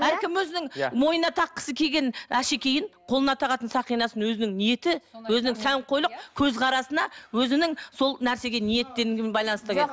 әркім өзінің мойнына таққысы келген әшекейін қолына тағатын сақинасын өзінің ниеті өзінің сәнқойлық көзқарасына өзінің сол нәрсеге